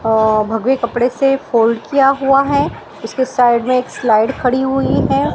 अ भगवे कपड़े से फोल्ड किया हुआ है उसके साइड में एक स्लाइड खड़ी हुई है।